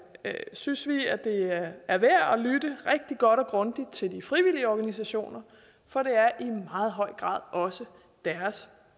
synes vi at det er værd at lytte rigtig godt og grundigt til de frivillige organisationer for det er i meget høj grad også deres